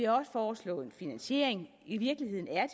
også foreslået en finansiering i virkeligheden er